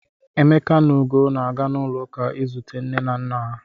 Emeka na Ugo na-aga n'ụlọụka izute nne na nna ha.